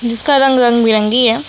जिसका रंग रंग बिरंगी है।